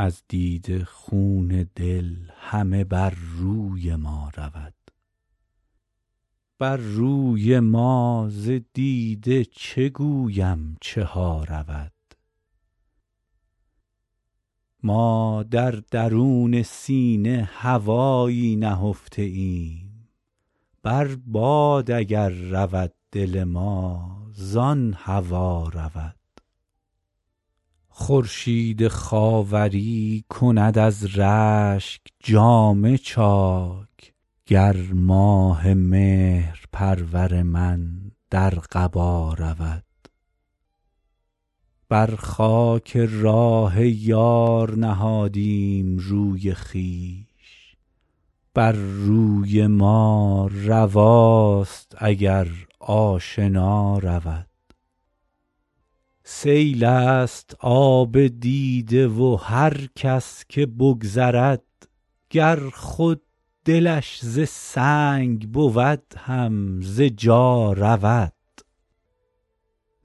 از دیده خون دل همه بر روی ما رود بر روی ما ز دیده چه گویم چه ها رود ما در درون سینه هوایی نهفته ایم بر باد اگر رود دل ما زان هوا رود خورشید خاوری کند از رشک جامه چاک گر ماه مهرپرور من در قبا رود بر خاک راه یار نهادیم روی خویش بر روی ما رواست اگر آشنا رود سیل است آب دیده و هر کس که بگذرد گر خود دلش ز سنگ بود هم ز جا رود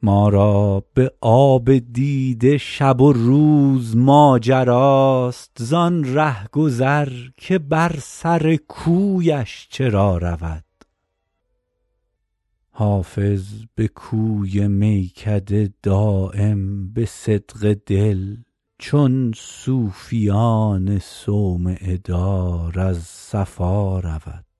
ما را به آب دیده شب و روز ماجراست زان رهگذر که بر سر کویش چرا رود حافظ به کوی میکده دایم به صدق دل چون صوفیان صومعه دار از صفا رود